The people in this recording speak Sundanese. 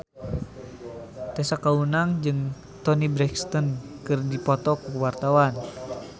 Tessa Kaunang jeung Toni Brexton keur dipoto ku wartawan